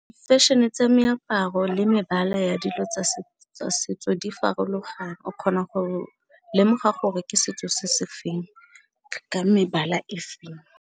Fashion-e tsa meaparo le mebala ya dilo tsa setso di farologane, o kgona go lemoga gore ke setso se se feng ka mebala efeng.